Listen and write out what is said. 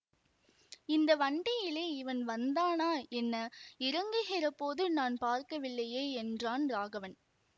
இந்த வண்டியிலே இவன் வந்தானா என்ன இறங்குகிற போது நான் பார்க்கவில்லையே என்றான் ராகவன்